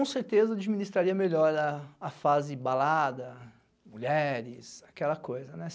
certeza eu administraria melhor a fase balada, mulheres, aquela coisa, né?